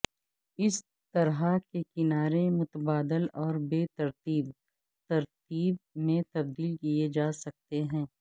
اس طرح کے کنارے متبادل اور بے ترتیب ترتیب میں تبدیل کیے جا سکتے ہیں